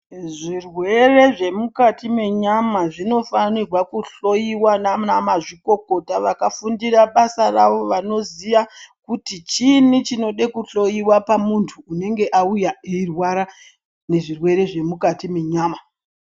Zvirwere zvemukati menyama zvinopfanirwa kuhoiwa nana mazvikokota vakafundira basa ravo. Vanoziya kuti chiini chinoda kuhloiwa pamuntu unenge auya eirwara nezvirwere zvemukati menyama.